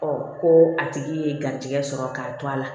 ko a tigi ye garijɛgɛ sɔrɔ k'a to a la